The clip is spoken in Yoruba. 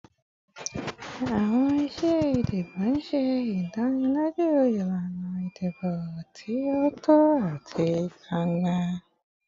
Awọn iṣe idibo ṣe idaniloju ilana idibo ti o tọ ati gbangba